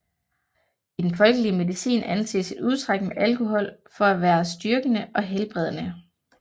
I den folkelige medicin anses et udtræk med alkohol for at være styrkende og helbredende